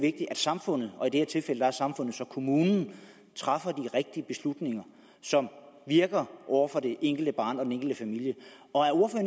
at samfundet og i det her tilfælde er samfundet så kommunen træffer de rigtige beslutninger som virker over for det enkelte barn og den enkelte familie